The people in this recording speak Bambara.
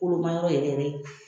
Kolomayɔrɔ yɛrɛ